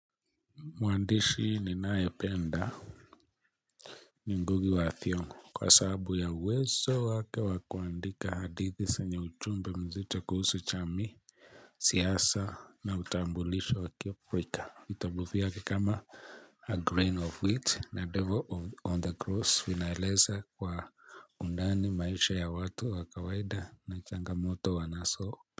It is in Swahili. Mwaandishi ninayependa ni Ngugi wa Thiongo kwa saabu ya uwezo wake wa kuandika hadithi senye uchumbe mzito kuhusu chamii, siasa na utambulisho wakio frika. Vitabu fiake kama, a grain of wheat na devil of on the cross vinaeleza kwa undani maisha ya watu wa kawaida na changamoto wanaso.